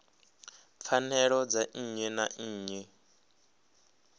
pfanelo dza nnyi na nnyi